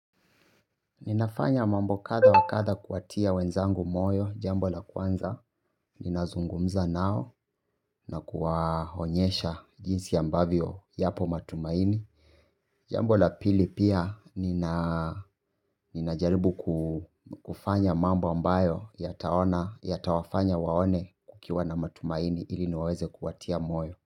Ninafanya mambo kadha wa kadha kuwatia wenzangu moyo. Jambo la kwanza, ninazungumza nao na kuwaonyesha jinsi ambavyo yapo matumaini. Jambo la pili pia, ninajaribu kufanya mambo ambayo yatawafanya waone kukiwa na matumaini ili niweze kuwatia moyo.